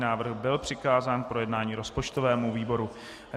Návrh byl přikázán k projednání rozpočtovému výboru.